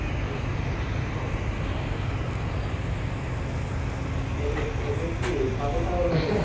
এ এই দের কি পাগল টাগল হয়ে গেছে না কি